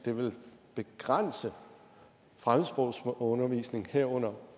vil begrænse fremmedsprogsundervisning herunder